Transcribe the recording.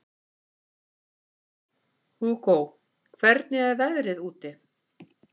Hugó, hvernig er veðrið úti?